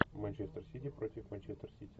манчестер сити против манчестер сити